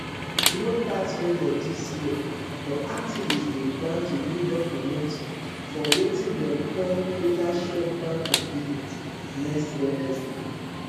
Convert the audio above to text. no tax measures dis year but activists dey plan to build up momentum for wetin dem dey call total shutdown of business next wednesday